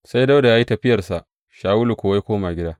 Sai Dawuda ya yi tafiyarsa, Shawulu kuwa ya koma gida.